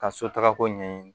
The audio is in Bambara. Ka so tagako ɲɛɲini